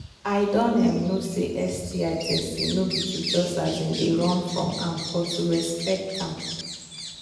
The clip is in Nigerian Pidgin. i don um know say sti testing no be to just um they run from am but to respect am